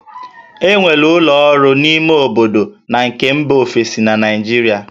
E nwere ụlọ ọrụ ime obodo na nke mba ofesi na Naịjirịa